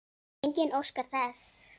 Enginn óskar þess.